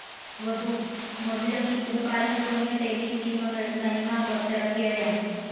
വധു, മധുരമീ പൂക്കാലം തുടങ്ങിയ ടെലിസിനിമകൾ തനിമ പുറത്തിറക്കിയവയാണ്.